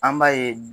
An b'a ye